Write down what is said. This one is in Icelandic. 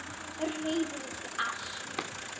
Reiður út í allt.